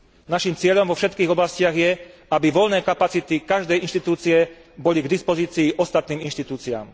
Našim cieľom vo všetkých oblastiach je, aby voľné kapacity každej inštitúcie boli k dispozícii ostatným inštitúciám.